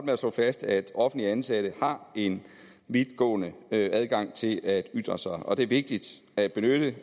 med at slå fast at offentligt ansatte har en vidtgående adgang til at ytre sig og det er vigtigt at